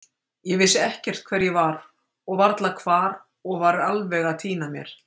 Ég vissi ekkert hver ég var og varla hvar og var alveg að týna mér.